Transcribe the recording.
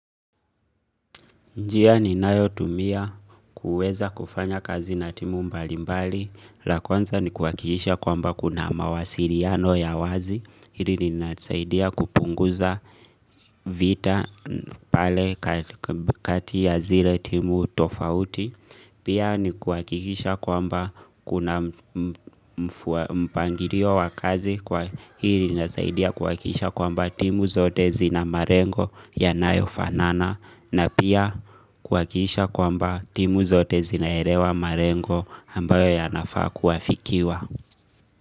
Njia ninayotumia kuweza kufanya kazi na timu mbali mbali, la kwanza ni kuhakikisha kwamba kuna mawasiriano ya wazi, hili linanisaidia kupunguza vita pale kati ya zile timu tofauti. Pia ni kuhakikisha kwamba kuna mpangirio wa kazi kwa hili linnazaidia kwamba timu zote zina marengo yanayo fanana na pia kuhakikisha kwamba timu zote zinaerewa marengo ambayo yanafa kuafikiwa.